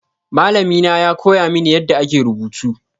Malami na ya koya mini yadda ake rubutu.